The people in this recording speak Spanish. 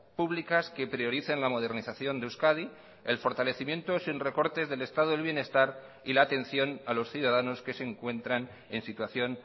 públicas que prioricen la modernización de euskadi el fortalecimiento sin recortes del estado del bienestar y la atención a los ciudadanos que se encuentran en situación